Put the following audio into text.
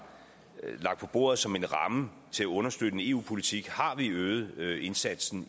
lagt på bordet som en ramme til at understøtte en eu politik har øget indsatsen